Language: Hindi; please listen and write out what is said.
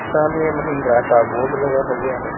सामने महिंद्रा का बोर्ड लगा हुआ है।